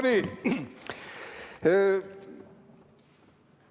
No nii!